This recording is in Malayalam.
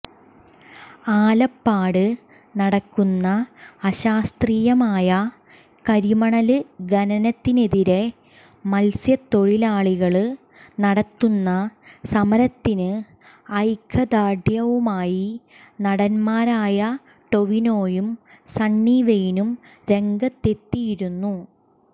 ആലപ്പാട് നടക്കുന്ന അശാസ്ത്രീയമായ കരിമണല് ഖനനത്തിനെതിരെ മത്സ്യത്തൊഴിലാളികല് നടത്തുന്ന സമരത്തിന് ഐക്യദാര്ഢ്യവുമായി നടന്മാരായ ടൊവിനോയും സണ്ണി വെയ്നും രംഗത്തെത്തിയിരുന്നു